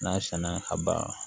N'a sɛnna a banna